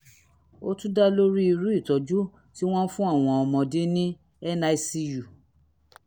ó tún dá lórí irú ìtọ́jú tí wọ́n ń fún àwọn ọmọdé ní nicu